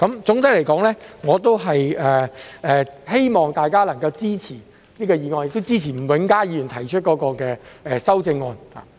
總的來說，我希望大家能夠支持這項議案，亦支持吳永嘉議員提出的修正案。